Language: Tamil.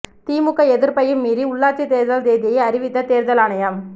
திமுக எதிர்ப்பையும் மீறி உள்ளாட்சி தேர்தல் தேதியை அறிவித்த தேர்தல் ஆணையம்